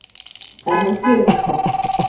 En hann gerir það samt.